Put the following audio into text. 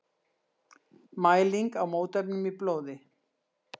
Mæling á mótefnum í blóði.